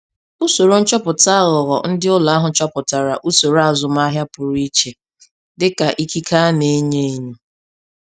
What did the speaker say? Usoro nchọpụta aghụghọ ndị ụlọ akụ chọpụtara usoro azụmaahịa pụrụ iche dịka ikike a na-enyo enyo.